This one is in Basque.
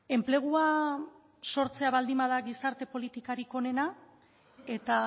enplegua sortzea baldin bada gizarte politikarik onena eta